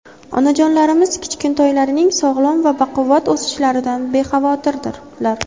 Onajonlarimiz kichkintoylarining sog‘lom va baquvvat o‘sishlaridan bexavotirdirlar.